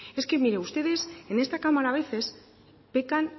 es que mire ustedes en esta cámara a veces pecan